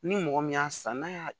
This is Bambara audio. Ni mɔgɔ min y'a san n'a y'a